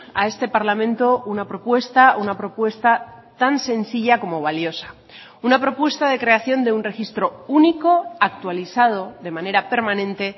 a este parlamento una propuesta una propuesta tan sencilla como valiosa una propuesta de creación de un registro único actualizado de manera permanente